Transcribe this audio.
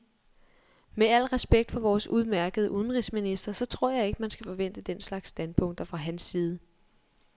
Med al respekt for vores udemærkede udenrigsminister så tror jeg ikke, man skal forvente den slags standpunkter fra hans side.